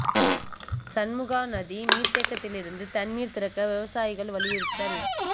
சண்முகாநதி நீா் தேக்கத்திலிருந்து தண்ணீா் திறக்க விவசாயிகள் வலியுறுத்தல்